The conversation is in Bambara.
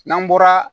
N'an bɔra